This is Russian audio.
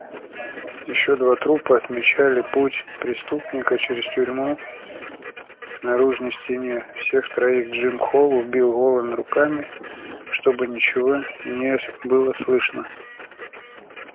ещё два трупа отмечали путь преступника через тюрьму к наружной стене всех троих джим холл убил голыми руками чтобы ничего не было слышно